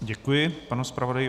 Děkuji panu zpravodaji.